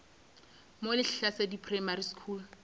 mo lehlasedi primary school ke